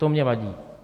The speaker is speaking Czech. To mně vadí.